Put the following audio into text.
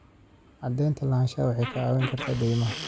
Cadaynta lahaanshaha waxay kaa caawin kartaa deymaha.